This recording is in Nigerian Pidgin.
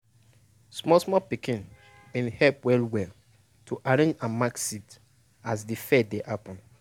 small small pikin bin help well well to arrange and mark seed as de fair dey happen.